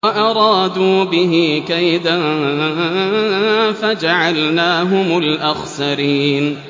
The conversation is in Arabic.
وَأَرَادُوا بِهِ كَيْدًا فَجَعَلْنَاهُمُ الْأَخْسَرِينَ